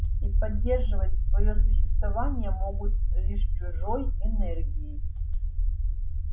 и поддерживать своё существование могут лишь чужой энергией